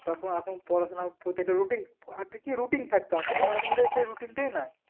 তখন এখন পড়াশোনা প্রত্যেকটা routine আগে কি routine থাকতো এখন কার মানুষের মধ্যে সেই routine টই নাই